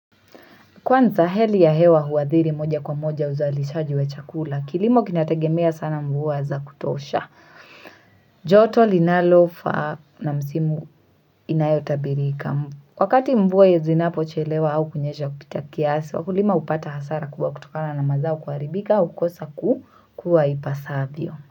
Kwanza heli ya hewa huwadhiri moja kwa moja uzalishaji wa chakula. Kilimo kinategemea sana mvua za kutosha. Joto linalofaa na msimu inayotabirika. Wakati mvua hiezi zinapochelewa au kunyesha kupita kiasi, wakulima hupata hasara kuwa kutokana na mazao kuaribika au kukosa kuwa ipasavyo.